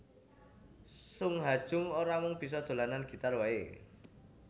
Sung Ha Jung ora mung bisa dolanan gitar waé